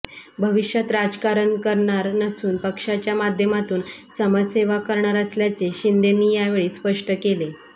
भविष्यात राजकारण करणार नसून पक्षाच्या माध्यमातून समाजसेवा करणार असल्याचे शिंदेंनी यावेळी स्पष्ट केले